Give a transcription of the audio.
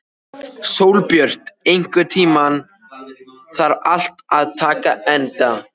Sólbjört, einhvern tímann þarf allt að taka enda.